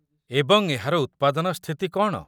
ଏବଂ ଏହାର ଉତ୍ପାଦନ ସ୍ଥିତି କ'ଣ?